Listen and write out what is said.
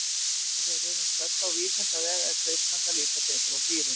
Af því að við erum stödd á vísindavef er freistandi að líta betur á dýrin.